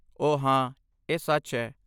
ਓਹ ਹਾਂ, ਇਹ ਸੱਚ ਹੈ।